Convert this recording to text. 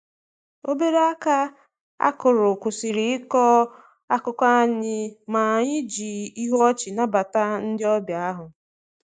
Obere aka akụrụ kwụsịrị ịkọ akụkọ anyị, ma anyị ji ihu ọchị nabata ndị ọbịa ahụ.